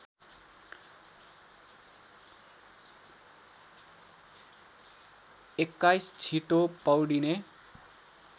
२१ छिटो पौडिने